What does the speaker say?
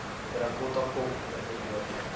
terracotta kop verteenwoordig